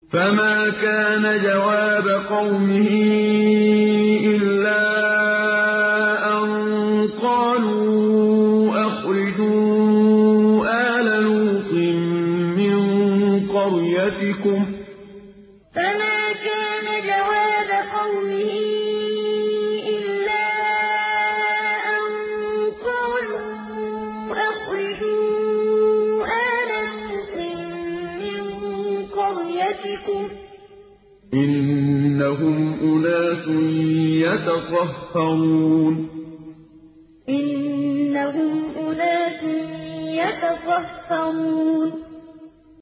۞ فَمَا كَانَ جَوَابَ قَوْمِهِ إِلَّا أَن قَالُوا أَخْرِجُوا آلَ لُوطٍ مِّن قَرْيَتِكُمْ ۖ إِنَّهُمْ أُنَاسٌ يَتَطَهَّرُونَ ۞ فَمَا كَانَ جَوَابَ قَوْمِهِ إِلَّا أَن قَالُوا أَخْرِجُوا آلَ لُوطٍ مِّن قَرْيَتِكُمْ ۖ إِنَّهُمْ أُنَاسٌ يَتَطَهَّرُونَ